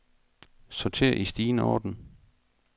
Sorter i stigende orden.